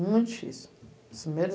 Muito difícil. As primeiras